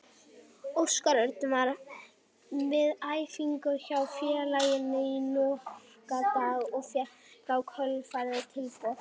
Óskar Örn var við æfingar hjá félaginu í nokkra daga og fékk í kjölfarið tilboð.